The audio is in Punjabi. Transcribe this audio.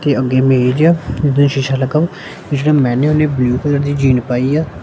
ਤੇ ਅੱਗੇ ਮੇਜ ਦੋ ਸ਼ੀਸ਼ਾ ਲੱਗਾ ਵਾ ਕੁਛ ਕੁਛ ਮੇਨੋਂ ਨੇਂ ਬਲੂ ਕਲਰ ਦੀ ਜੀਨ ਪਾਈ ਆ।